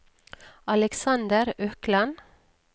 Alexander Økland